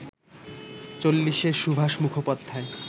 চল্লিশের সুভাষ মুখোপাধ্যায়